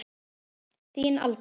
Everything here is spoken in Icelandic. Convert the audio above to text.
Þín, Alda.